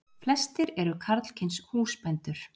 Flestir eru karlkyns húsbændur.